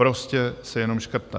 Prostě se jenom škrtá.